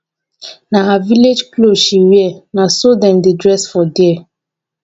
na her village cloth she wear. na so dem dey dress for there.